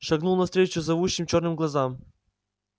шагнул навстречу зовущим чёрным глазам